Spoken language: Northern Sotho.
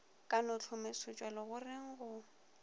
ka no hlomesetšwa legoreng go